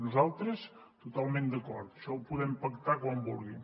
nosaltres totalment d’acord això ho podem pactar quan vulguin